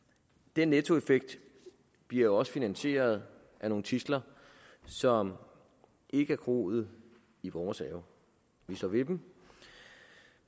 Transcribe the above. den nettoeffekt bliver jo også finansieret af nogle tidsler som ikke er groet i vores have vi står ved dem